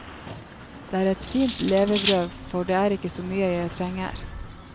Det er et fint levebrød for det er ikke så mye jeg trenger.